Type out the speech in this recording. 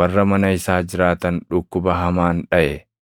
warra mana isaa jiraatan dhukkuba hamaan dhaʼe.